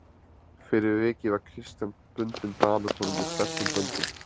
Fyrir vikið var Christian bundinn Danakonungi sterkum böndum.